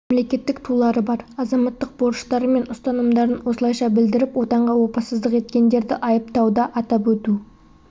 мемлекеттік тулары бар азаматтық борыштары мен ұстанымдарын осылайша білдіріп отанға опасыздық еткендерді айыптауда атап өту